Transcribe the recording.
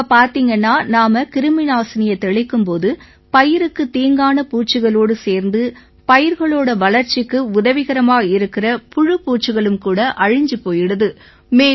இப்ப பார்த்தீங்கன்னா நாம கிருமிநாசினியைத் தெளிக்கும் போது பயிருக்குத் தீங்கான பூச்சிகளோடு சேர்ந்து பயிர்களோட வளர்ச்சிக்கு உதவிகரமா இருக்கற புழுபூச்சிகளும் கூட அழிஞ்சு போயிடுது